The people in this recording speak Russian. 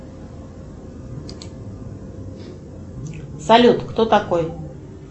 салют кто такой